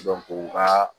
u ka